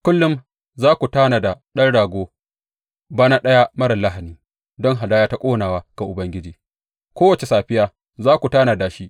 Kullum za ku tanada ɗan rago bana ɗaya marar lahani don hadaya ta ƙonawa ga Ubangiji; kowace safiya za ku tanada shi.